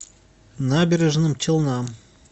набережным челнам